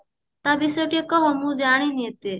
ତା ବିଷୟରେ ଟିକେ କହ ମୁଁ ଜାଣିନି ଏତେ